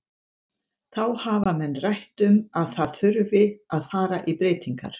Þá hafa menn rætt um að það þurfi að fara í breytingar.